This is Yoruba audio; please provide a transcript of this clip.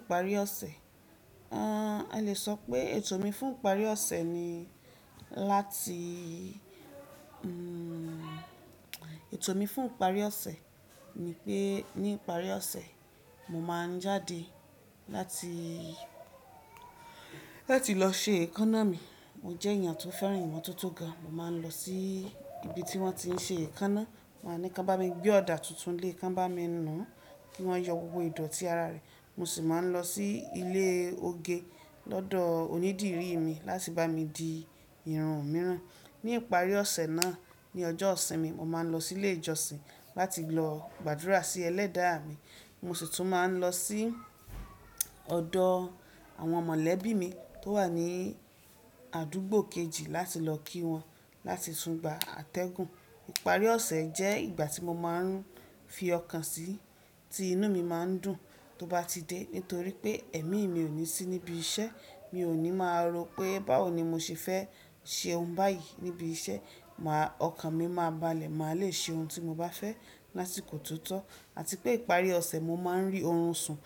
Ìparí ọ̀sẹ̀, a lè sọ pé ètò mi fún ìparí ọ̀sẹ̀ ni láti, ètò mi fún ìparí ọ̀sẹ̀ ni pé ní ìparí ọ̀sẹ̀ mo máa ń jáde láti lọ se èékánná mi. Mo jẹ́ ènìyàn tó fẹ́ràn ìmotótó gan, mo máa ń lọ sí ibi tí wọ́n ti ń ṣe èékánná, màá ní kí wọ́n bá mi gbé ọ̀dà tuntun lé, kí wọ́n bá mi nùú kí wọ́n yọ gbogbo ìdọ̀tí ara rẹ̀. Mo sì máa ń lọ sí ilé oge lọ́dọ̀ onídìrí mi láti bá mi di irun mìíràn. Ní ìparí ọ̀sẹ̀ náà ni ọjọ́ ìsinmi mo máa ń lọ sí ilé ìjọsìn láti lọ gbàdúrà sí ẹlẹ́dàá mi. Mo sì tún máa ń lọ sí ọ̀dọ̀ àwọn mọ̀lẹ́bí mi tó wà ní àdúgbò kejì láti lọ kí wọn láti tún gba àtẹ̀gùn. Ìparí ọ̀sẹ̀ jẹ́ ìgbà tí mo máa ń fi ọkàn sí tí inú mi má ń dùn tó bá ti dé. Nítorí pé èmi mi ò ní sí níbi iṣẹ́, mi ò ní máa rò pé báwo ni mo ṣe fẹ́ ṣe ohun báyìí níbi iṣẹ́. Máa, ọkàn mi máa balẹ̀, màá le ṣe ohun tí mo bá fẹ́ lásìkò tó tọ́ àti pé ìparí ọ̀sẹ̀ mo máa ń rí oorun sùn,